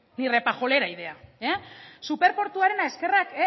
ni repajolera idea superportuarena eskerrak